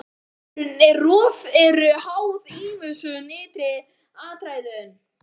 Veðrun og rof eru háð ýmsum ytri aðstæðum.